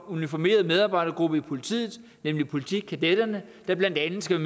uniformeret medarbejdergruppe i politiet nemlig politikadetterne der blandt andet skal